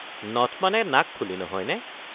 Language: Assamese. নথ মানে নাকফুলি নহয় নে?